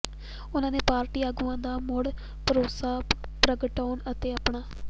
ਉਨ੍ਹਾਂ ਨੇ ਪਾਰਟੀ ਆਗੂਆਂ ਦਾ ਮੁੜ ਭਰੋਸਾ ਪ੍ਰਗਟਾਉਣ ਅਤੇ ਆਪਣਾ